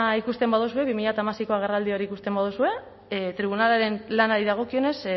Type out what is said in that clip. ikusten baduzue bi mila hamaseiko agerraldi hori ikusten baduzue tribunalaren lanari dagokionez